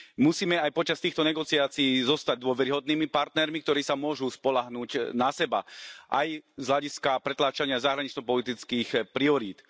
Musíme aj počas týchto negociácií zostať dôveryhodnými partnermi, ktorí sa môžu spoľahnúť na seba aj z hľadiska pretláčania zahranično politických priorít.